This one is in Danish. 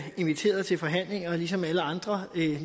inviteret til forhandlinger ligesom alle andre